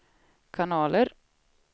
kanaler